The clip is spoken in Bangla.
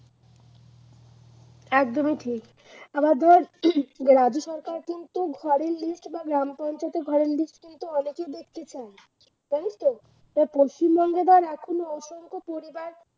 একদমই ঠিক আবার ধর রাজ্য সরকার কিন্তু ঘরের list বা গ্রাম পঞ্চায়েতও ঘরের list কিন্তু অনেকে দেখতে চায়। তাইতো পশ্চিমবঙ্গ ধর অসংখ্য পরিবার